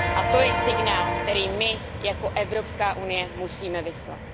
A to je signál, který my jako Evropská unie musíme vyslat.